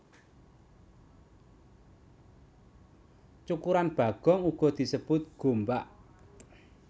Cukuran bagong uga disebut gombak